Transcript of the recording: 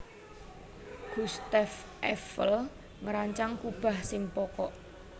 Gustave Eiffel ngrancang kubah sing pokok